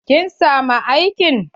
Kin samu aikin?